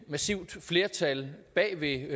massivt flertal bag ved